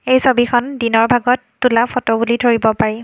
এই ছবিখন দিনৰ ভাগত তোলা ফটো বুলি ধৰিব পাৰি।